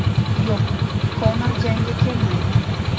Yo‘q, Konor jangga kelmaydi.